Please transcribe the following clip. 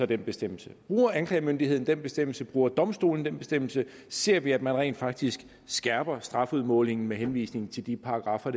den bestemmelse bruger anklagemyndigheden den bestemmelse bruger domstolene den bestemmelse ser vi at man rent faktisk skærper strafudmålingen med henvisning til de paragraffer